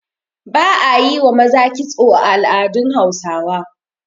ba a yi wa maza kitso a al'adun Hausawa